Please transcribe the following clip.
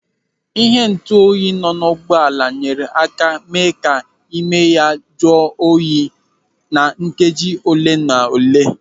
Ịhe ntuoyi nọ n'ụgbọala nyere aka mee ka ịme ya jụọ oyi na nkeji ole na ole.